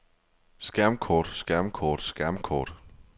skærmkort skærmkort skærmkort